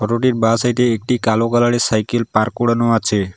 রোডের বাঁ সাইডে একটি কালো কালারের সাইকেল পার্ক করানো আছে।